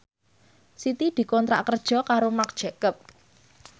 Siti dikontrak kerja karo Marc Jacob